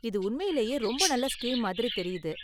இது உண்மையிலேயே ரொம்ப நல்ல ஸ்கீம் மாதிரி தெரியுது.